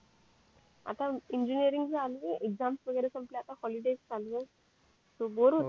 आता इंजिनीरिंग चालूये एक्साम वैगरे संपले आता पॉलिटिक्स चालूये सो बोर होतेयं फार